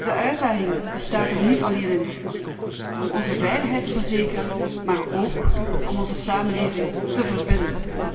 De uitdaging bestaat er niet alleen in om onze veiligheid te verzekeren, maar ook om onze samenleving te verbinden.